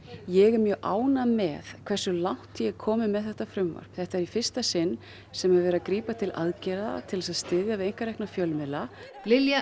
ég er mjög ánægð með hversu langt ég er komin með þetta frumvarp þetta er í fyrsta sinn sem er verið að grípa til aðgerða til að styðja við einkarekna fjölmiðla Lilja